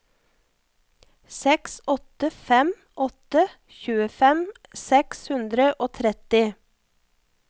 seks åtte fem åtte tjuefem seks hundre og tretti